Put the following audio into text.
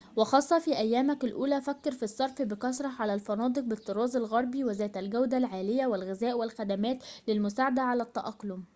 وخاصةً في أيامك الأولى فكر في الصرف بكثرة على الفنادق بالطراز الغربي وذات الجودة العالية والغذاء والخدمات للمساعدة على التأقلم